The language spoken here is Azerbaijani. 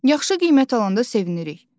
yaxşı qiymət alanda sevinirik.